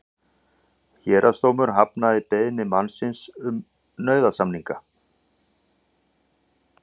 Héraðsdómur hafnaði beiðni mannsins um nauðasamninga